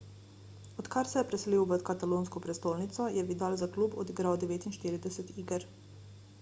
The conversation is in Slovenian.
odkar se je preselil v katalonsko prestolnico je vidal za klub odigral 49 iger